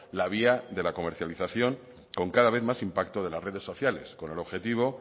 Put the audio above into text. la vía de la comercialización con cada vez más impacto de las redes sociales con el objetivo